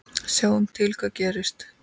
Sjáum til hvað gerist.